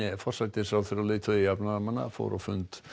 forsætisráðherra og leiðtogi jafnaðarmanna fór á fund